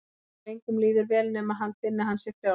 Og engum líður vel nema hann finni að hann sé frjáls.